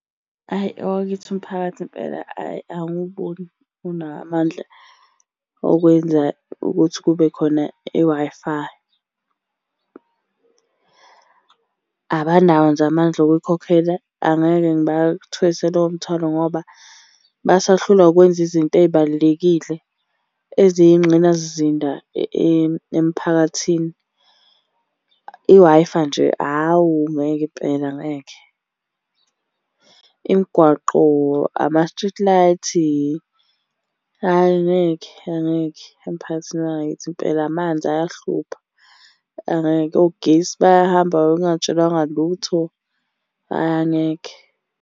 Ayi owakithi umphakathi impela ayi angiwuboni unamandla okwenza ukuthi kube khona i-Wi-Fi. Abanawo nje amandla okuyikhokhela, angeke ngibathwese lowo mthwalo ngoba basahlulwa ukwenza izinto ey'balulekile eziyingxinasizinda emphakathini. I-Wi-Fi nje awu ngeke impela ngeke. Imigwaqo, ama-street light, ayi ngeke angeke emphakathini wangakithi impela. Amanzi ayahlupha angeke, ogesi bayahamba wena ungatshelwanga lutho, ayi angeke.